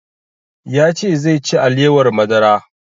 Ya ce zai ci alewar madara